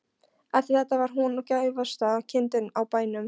Eftir þetta var hún gæfasta kindin á bænum.